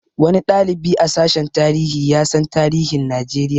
Wani ɗalibi a sashen tarihi ya san tarihin Najeriya